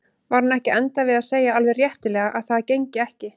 Var hún ekki að enda við að segja alveg réttilega að það gengi ekki?